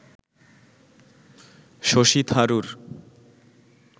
Shashi Tharoor